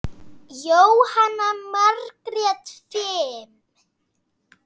Jóhanna Margrét: Fimm?